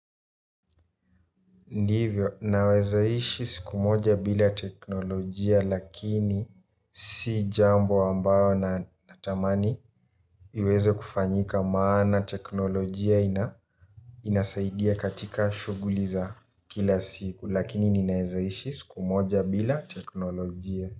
Ndivyo naweza ishi siku moja bila teknolojia lakini si jambo ambayo natamani iweze kufanyika maana teknolojia ina inasaidia katika shughuli za kila siku lakini ninaweza ishi siku moja bila teknolojia.